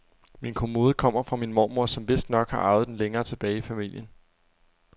Min kommode kommer fra min mormor, som vistnok har arvet den længere tilbage i familien.